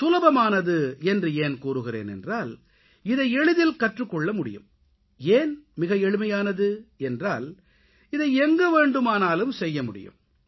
சுலபமானது என்று ஏன் கூறுகிறேன் என்றால் இதை எளிதில் கற்றுக் கொள்ளமுடியும் ஏன் மிக எளிமையானது என்றால் இதை எங்கு வேண்டுமானாலும் செய்யமுடியும்